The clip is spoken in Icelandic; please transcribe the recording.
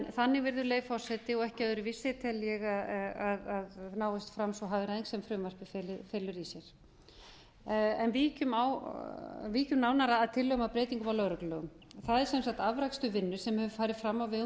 þannig virðulegi forseti og ekki öðruvísi tel ég að náist fram sú hagræðing sem frumvarpið felur í sér víkjum nánar að tillögum að breytingum á lögreglulögum það er sem sagt afrakstur vinnu sem hefur farið fram á vegum